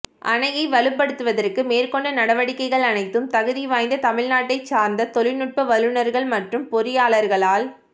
அணையை வலுப்படுத்துவதற்கு மேற்கொண்ட நடவடிக்கைகள் அனைத்தும் தகுதிவாய்ந்த தமிழ்நாட்டைத் சார்ந்த தொழில்நுட்ப வல்லுநர்கள் மற்றும் பொறியாளர்களால்